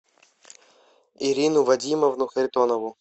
ирину вадимовну харитонову